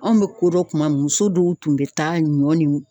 Anw bɛ kodɔn tuma min , muso dɔw tun bɛ taa ɲɔ ni